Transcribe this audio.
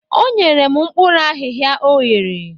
O nyere m mkpuru ahihia o ghere